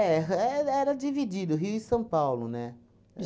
É. É era dividido, o Rio e São Paulo, né?